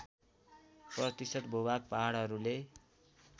प्रतिशत भूभाग पहाडहरूले